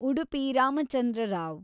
Udupi Ramachandra Rao